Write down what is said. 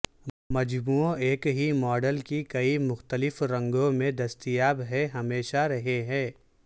مجموعوں ایک ہی ماڈل کی کئی مختلف رنگوں میں دستیاب ہیں ہمیشہ رہے ہیں